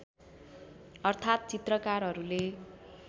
अर्थात् चित्रकारहरूले